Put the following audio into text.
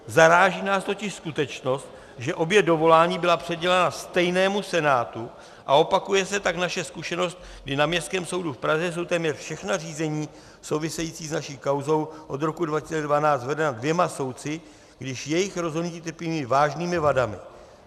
Zaráží nás totiž skutečnost, že obě dovolání byla přidělena stejnému senátu, a opakuje se tak naše zkušenost, kdy na Městském soudu v Praze jsou téměř všechna řízení související s naší kauzou od roku 2012 vedena dvěma soudci, když jejich rozhodnutí trpí vážnými vadami.